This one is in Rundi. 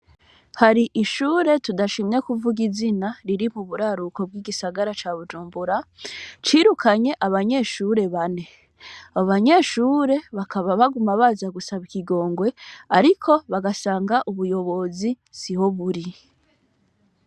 Hari ishure tudashimye kuvuga izina riri muburaruko bwo mugisagara ça Bujumbura cirukanye abanyeshure bane abo banyeshure bakaba baguma baza gusaba ikigongwe ariko bagasanga ubuyobozi siho buri.